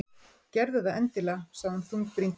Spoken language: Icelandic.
Gerðu það endilega- sagði hún þungbrýnd.